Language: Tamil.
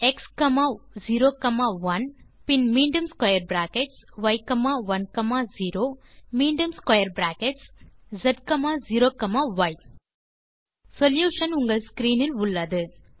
மற்றும் மீண்டும் பிராக்கெட்ஸ் எக்ஸ்01 பின் மீண்டும்square பிராக்கெட்ஸ் ய்10 மீண்டும் ஸ்க்வேர் பிராக்கெட் z0ய் சொல்யூஷன் உங்கள் ஸ்க்ரீன் இல் உள்ளது